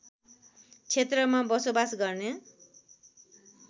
क्षेत्रमा बसोबास गर्ने